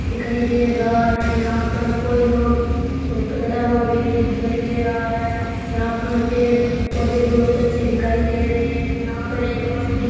दिखाई दे रहा है यहाँ पर कोई लोग और खड़ा हुआ भी नहीं दिखाई दे रहा है यहाँ पर पेड़ पौधे बहुत अच्छे दिखाई दे रहे है यहाँ पर एक रौशनी --